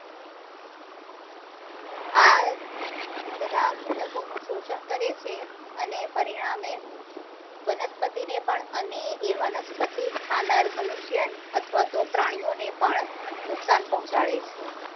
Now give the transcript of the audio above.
આ બધા ઘટકો નું શોષણ કરે છે અને પરિણામે વનસ્પતિ ને પણ અને એ વનસ્પતિ ખાનાર મનુષ્ય અથવા તો પ્રાણીઓ ને પણ નુકસાન પહોંચાડે છે